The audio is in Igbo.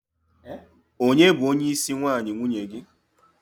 onye bu onye isi nwayi nwunye gi?